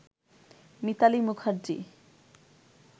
Mitali Mukherjee